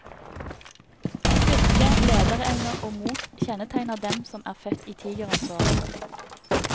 Styrke, lederevne og mot kjennetegner dem som er født i tigerens år.